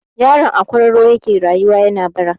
Yaron a kwararon yake rayuwa yana bara.